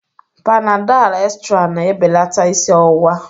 Panadal extral na-ebelata isi ọwụwa